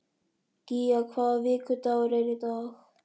Gía, hvaða vikudagur er í dag?